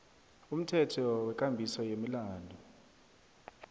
umthetho wekambiso yemilandu